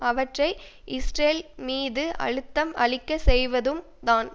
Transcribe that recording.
அவற்றை இஸ்ரேல் மீது அழுத்தம் அளிக்க செய்வதும் தான்